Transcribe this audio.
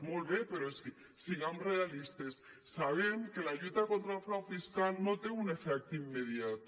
molt bé però és que siguem realistes sabem que la lluita contra el frau fiscal no té un efecte immediat